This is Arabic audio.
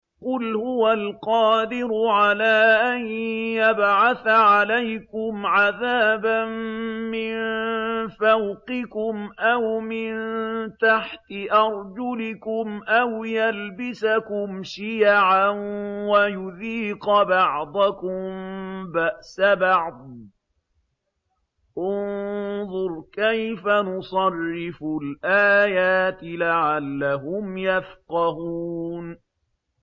قُلْ هُوَ الْقَادِرُ عَلَىٰ أَن يَبْعَثَ عَلَيْكُمْ عَذَابًا مِّن فَوْقِكُمْ أَوْ مِن تَحْتِ أَرْجُلِكُمْ أَوْ يَلْبِسَكُمْ شِيَعًا وَيُذِيقَ بَعْضَكُم بَأْسَ بَعْضٍ ۗ انظُرْ كَيْفَ نُصَرِّفُ الْآيَاتِ لَعَلَّهُمْ يَفْقَهُونَ